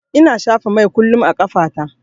Ina shafa mai kullum a ƙafa ta.